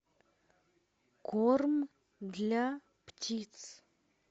корм для птиц